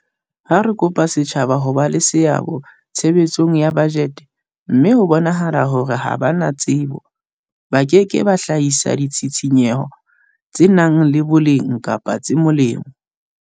Ha re kopa setjhaba ho ba le seabo tshebetsong ya bajete mme ho bonahala hore ha ba na tsebo, ba ke ke ba hlahisa ditshisinyo tse nang le boleng kapa tse molemo.